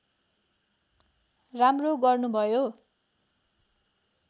राम्रो गर्नुभयो